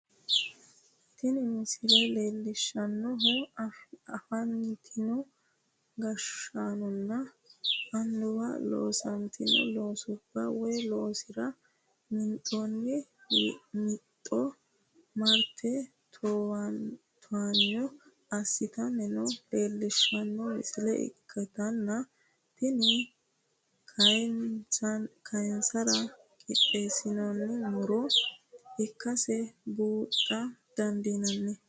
tini misile leellishhsannohu afantino gashshaanonna annuwi loosantino loosubba woy loonsara minxoonni mixxa marte towaanyo assitanni noota leellishshanno misile ikkitanna ,tini kayinsara qixxeessinoonni muro ikkkase buuxa dandiinanni.